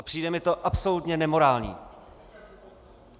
A přijde mi to absolutně nemorální!